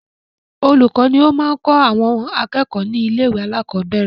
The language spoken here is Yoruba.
Olùkọ́ ni ó máa kọ àwọn akẹ́kọ̀ọ́ ni ilé ìwé alakọ̀bẹ́ẹ́rẹ̀